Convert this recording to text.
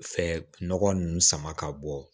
Fɛ nɔgɔ ninnu sama ka bɔ